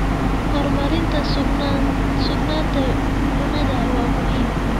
Horumarinta sugnaanta cunnada waa muhiim.